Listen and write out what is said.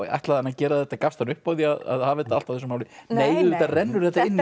ætlaði hann að gera þetta gafst hann upp á því að hafa þetta allt á þessu máli nei auðvitað rennur þetta inn